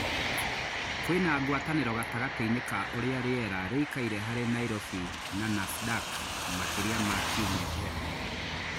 kwĩna gwataniro gatagatĩinĩ ka ũrĩa rĩera rĩkaire harĩ Nairobi na Nasdaq makaria ma kĩumĩa kĩhetũku